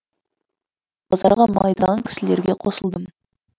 базарға мал айдаған кісілерге қосылдым